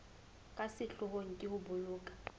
ka sehloohong ke ho boloka